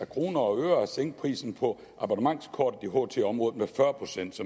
i kroner og øre at sænke prisen på abonnementskort i ht området